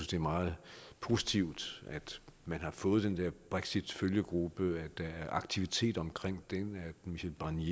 det er meget positivt at man har fået den der brexitfølgegruppe at der er aktivitet omkring den at michel barnier